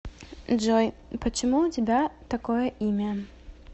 джой почему у тебя такое имя